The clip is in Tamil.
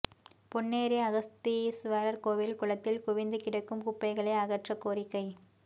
பொன்னேரி அகத்தீஸ்வரா் கோயில் குளத்தில் குவிந்து கிடக்கும் குப்பைகளை அகற்றக் கோரிக்கை